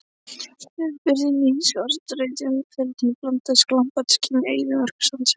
Litbrigðin í skarlatsrauðum feldinum blandast glampandi skini eyðimerkursandsins.